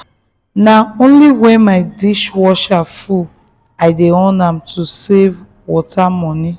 na only when my dishwasher full i dey on am to save water money.